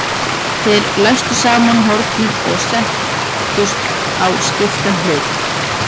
Þeir læstu saman hornum og sættust á skiptan hlut.